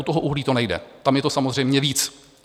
U toho uhlí to nejde, tam je to samozřejmě víc.